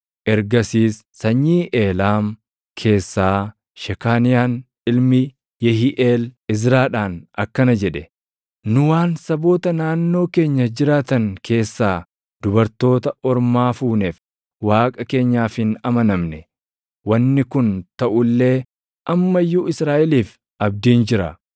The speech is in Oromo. Ergasiis sanyii Eelaam keessaa Shekaaniyaan ilmi Yehiiʼeel Izraadhaan akkana jedhe; “Nu waan saboota naannoo keenya jiraatan keessaa dubartoota ormaa fuuneef Waaqa keenyaaf hin amanamne. Wanni kun taʼu illee amma iyyuu Israaʼeliif abdiin jira.